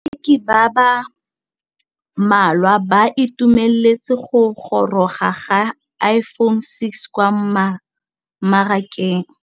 Bareki ba ba malwa ba ituemeletse go gôrôga ga Iphone6 kwa mmarakeng.